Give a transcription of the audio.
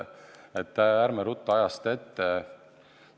Ent ärme ruttame ajast ette!